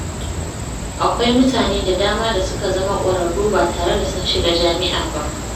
Akwai mutane da dama da suka zama ƙwararru ba tare da sun shiga jami’a ba.